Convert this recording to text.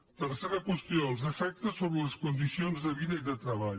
tercera qüestió els efectes sobres les condicions de vida i de treball